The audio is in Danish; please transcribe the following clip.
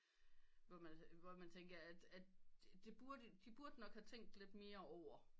Hvor man tænker at det burde de burde nok have tænkt lidt mere over